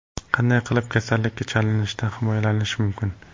Qanday qilib kasallikka chalinishdan himoyalanish mumkin?.